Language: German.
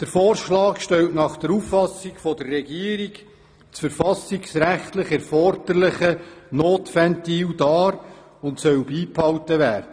Dieser Vorschlag stellt nach Auffassung der Regierung das verfassungsrechtlich erforderliche Ventil dar und soll beibehalten werden.